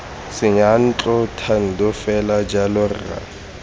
seyantlo thando fela jalo rra